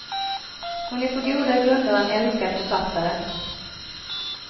Hon är på goda grunder en älskad författare.